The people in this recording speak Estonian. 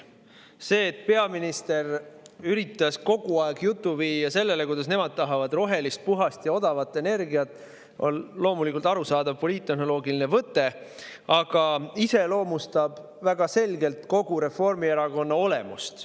See, et peaminister üritas kogu aeg viia juttu sellele, kuidas nemad tahavad rohelist, puhast ja odavat energiat, on loomulikult arusaadav poliittehnoloogiline võte ja iseloomustab väga selgelt kogu Reformierakonna olemust.